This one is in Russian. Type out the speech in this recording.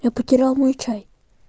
я потерял мой чай